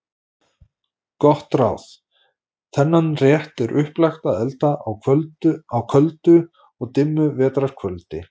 Gott ráð: Þennan rétt er upplagt að elda á köldu og dimmu vetrar kvöldi.